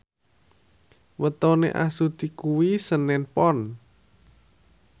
wetone Astuti kuwi senen Pon